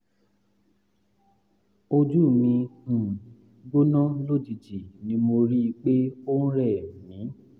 ojú mi um gbóná lójijì ni mo rí i pé ó ń rẹ̀ mí